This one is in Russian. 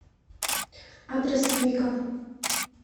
адрес вика